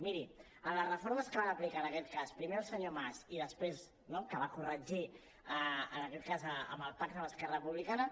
miri en les reformes que van aplicar en aquest cas primer el senyor mas i després no que va corregir en aquest cas amb el pacte amb esquerra republicana